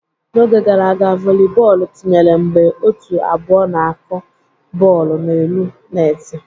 N'oge gara aga, volibọọlụ tinyere mgbe ótù abụọ na-akụ bọọlụ n'elu netị.